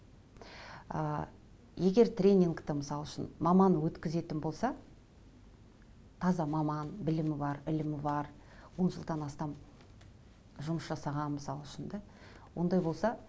ыыы егер тренингті мысал үшін маман өткізетін болса таза маман білімі бар ілімі бар он жылдан астам жұмыс жасаған мысал үшін де ондай болса